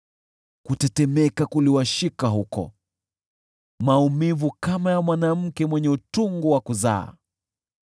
Kutetemeka kuliwashika huko, maumivu kama ya mwanamke mwenye utungu wa kuzaa.